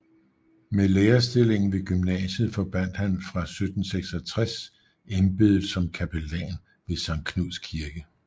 Med lærerstillingen ved gymnasiet forbandt han fra 1766 embedet som kapellan ved Sankt Knuds Kirke